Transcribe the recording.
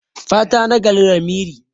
Fata nagari lamiri.